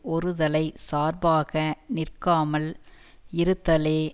ஒருதலைச் சார்பாக நிற்காமல் இருத்தலே